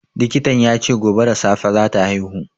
Likitan ya ce gobe da safe za ta haihu.